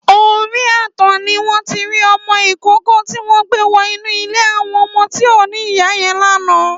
Óri ààtàn niwọn ti ri ọmọ ikóòkò tiwọn gbé wọ inù ilé awọn ọmọ ti ó ni ìyá yèn làná